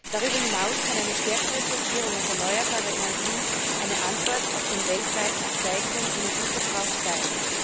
Darüber hinaus kann eine stärkere Fokussierung auf erneuerbare Energien eine Antwort auf den weltweit steigenden Energieverbrauch sein.